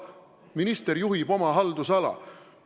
Minister juhib oma haldusala!